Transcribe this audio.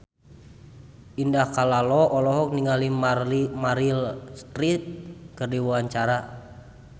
Indah Kalalo olohok ningali Meryl Streep keur diwawancara